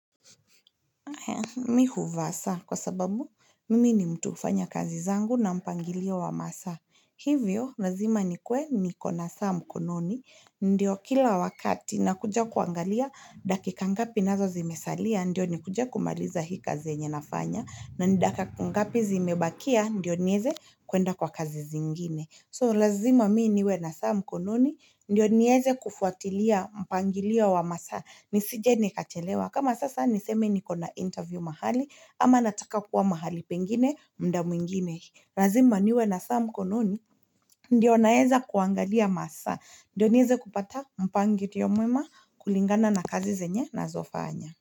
Mimi huvaa saa kwa sababu mimi ni mtu hufanya kazi zangu na mpangilio wa masaa hivyo lazima nikuwe nikona saa mkononi Ndiyo kila wakati nakuja kuangalia dakika ngapi nazo zimesalia ndiyo nikuje kumaliza hii kazi yenye nafanya na ni dakika ngapi zimebakia ndiyo niweze kuenda kwa kazi zingine So lazima mimi niwe na saa mkononi ndiyo niweze kufuatilia mpangilio wa masaa nisije nikachelewa. Kama sasa niseme niko na interview mahali ama nataka kuwa mahali pengine muda mwingine lazima niwe na saa mkononi ndiyo naweza kuangalia masaa Ndiyo niweze kupata mpangilio mwema kulingana na kazi zenye ninazofanya.